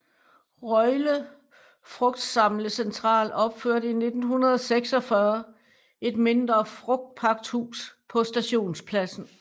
Røjle Frugtsamlecentral opførte i 1946 et mindre frugtpakhus på stationspladsen